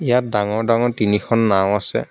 ইয়াত ডাঙৰ ডাঙৰ তিনিখন নাওঁ আছে।